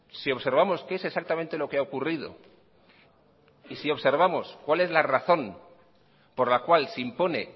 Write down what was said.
si observamos qué es exactamente lo que ha ocurrido y si observamos cuál es la razón por la cual se impone